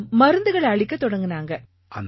அவங்க மருந்துகளை அளிக்கத் தொடங்கினாங்க